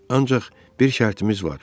Ancaq bir şərtimiz var.